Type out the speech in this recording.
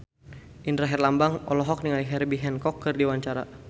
Indra Herlambang olohok ningali Herbie Hancock keur diwawancara